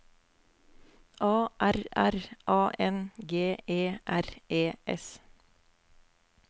A R R A N G E R E S